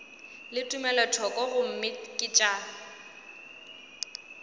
le tumelothoko gomme ke tša